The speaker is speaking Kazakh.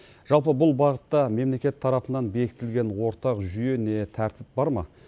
жалпы бұл бағытта мемлекет тарапынан бекітілген ортақ жүйе не тәртіп бар ма